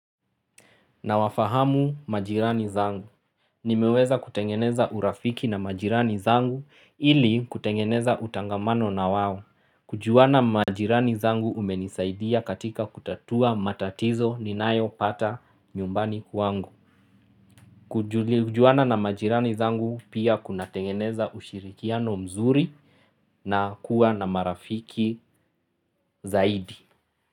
Nawafahamu majirani zangu. Nimeweza kutengeneza urafiki na majirani zangu ili kutengeneza utangamano na wawo. Kujuana majirani zangu umenisaidia katika kutatua matatizo ninayo pata nyumbani kwangu. Kujuana na majirani zangu pia kuna tengeneza ushirikiano mzuri na kuwa na marafiki zaidi.